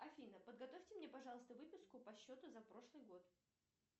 афина подготовьте мне пожалуйста выписку по счету за прошлый год